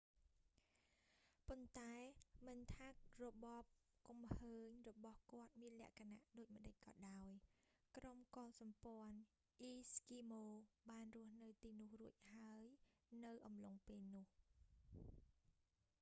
ប៉ុន្តែមិនថារបបគំឃើញរបស់គាត់មានលក្ខណៈដូចម្ដេចក៏ដោយ ក្រុមកុលសម្ព័ន្ធអ៊ីស្គីម៉ូបានរស់នៅទីនោះរួចហើយនៅអំឡុងពេលនោះ